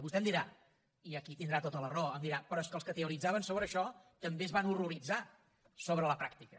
i vostè em dirà i aquí tindrà tota la raó però és que els que teoritzaven sobre això també es van horroritzar sobre la pràctica